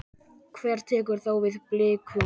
Hver tekur þá við Blikum?